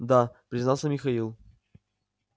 да признался михаил